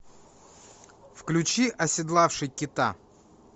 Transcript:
включи оседлавший кита